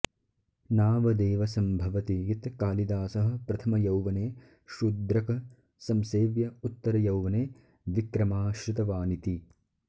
नावदेव सम्भवति यत्कालिदासः प्रथमयौवने शुद्रक संसेव्य उत्तरयौवने विक्रमाश्रितवानिति